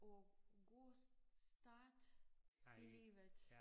Og god start i livet